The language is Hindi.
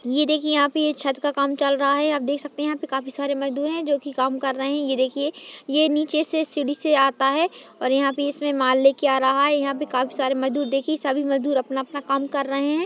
ये देखिए यहाँ पे ये छत का काम चल रहा है आप देख सकते हैं यहाँ पर काफी सारे मजदूर है जो कि कम कर रहे हैं ये देखिए ये नीचे से सीडी से आता है और यहाँ पे इसमें माल लेके आ रहा है यहाँ पर काफी सारे मजदूर देखिये सभी मजदूर अपना-अपना काम कर रहे हैं।